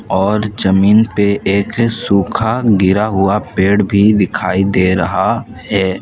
और जमीन पे एक सूखा गिरा हुआ पेड़ भी दिखाई दे रहा है।